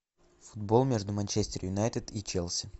футбол между манчестер юнайтед и челси